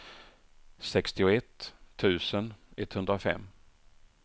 sextioett tusen etthundrafem